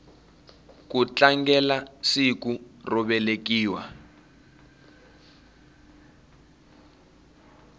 ku tlangelasiku ro velekiwa